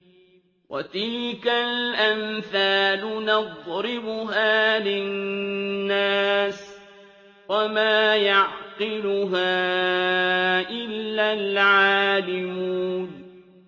وَتِلْكَ الْأَمْثَالُ نَضْرِبُهَا لِلنَّاسِ ۖ وَمَا يَعْقِلُهَا إِلَّا الْعَالِمُونَ